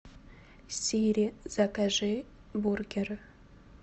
сири закажи бургер